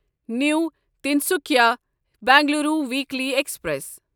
new Tinsukia Bengaluru weekly express